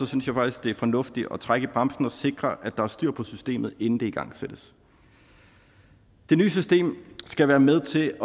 synes jeg faktisk det er fornuftigt at trække i bremsen og sikre at der er styr på systemet inden det igangsættes det nye system skal være med til